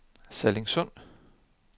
Sallingsund